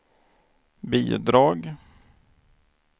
bidrag